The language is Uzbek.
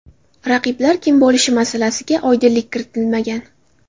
Raqiblar kim bo‘lishi masalasiga oydinlik kiritilmagan.